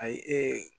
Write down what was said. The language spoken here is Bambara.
Ayi ee